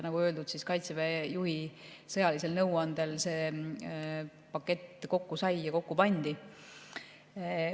Nagu öeldud, Kaitseväe juhi sõjalise nõuande põhjal see pakett kokku sai ja kokku pandi.